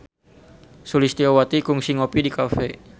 Sulistyowati kungsi ngopi di cafe